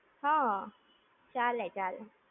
હા. ચાલે ચાલે.